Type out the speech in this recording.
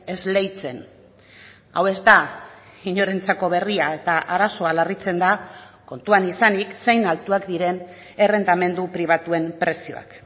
esleitzen hau ez da inorentzako berria eta arazoa larritzen da kontuan izanik zein altuak diren errentamendu pribatuen prezioak